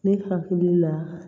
Ne hakili la